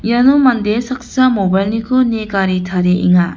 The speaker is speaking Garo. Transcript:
iano mande saksa mobile-niko nie gari tarienga.